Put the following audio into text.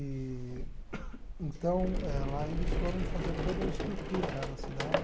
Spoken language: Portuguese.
Eee então, eh lá eles foram fazer toda a estrutura né da cidade.